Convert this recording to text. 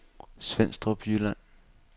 Svenstrup Jylland